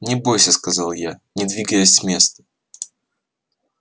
не бойся сказал я не двигаясь с места